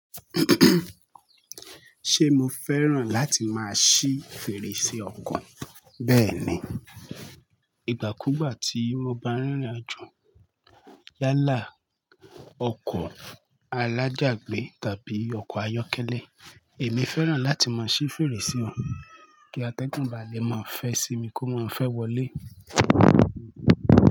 Ṣe mo fẹ́ràn láti máa ṣí fèrèsé ọkọ̀? Bẹ́ẹ̀ni, ìgbà kúgbà tí mo bá rìnrìn àjò lálá ọkọ̀ alájágbé tàbí ọkọ̀ ayọ́kẹ́lẹ́, èmi fẹ́ràn láti máa ṣí fèrèsé wọn kí atẹ́gùn báa le máa fẹ́ sí mi kó má fẹ́ wọlé.